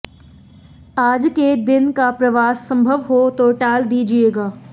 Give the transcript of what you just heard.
आज के दिन का प्रवास संभव हो तो टाल दीजिएगा